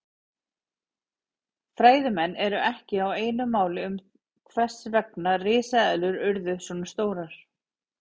Fræðimenn eru ekki á einu máli um það hvers vegna risaeðlurnar urðu svona stórar.